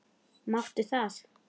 Máttu það?